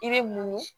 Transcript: I bɛ munu